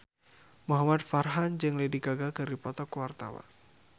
Muhamad Farhan jeung Lady Gaga keur dipoto ku wartawan